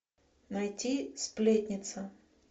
найти сплетница